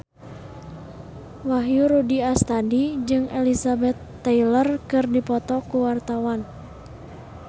Wahyu Rudi Astadi jeung Elizabeth Taylor keur dipoto ku wartawan